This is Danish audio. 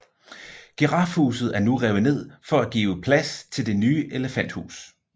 Girafhuset er nu revet ned for at give plads til Det nye elefanthus